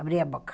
Abri a boca.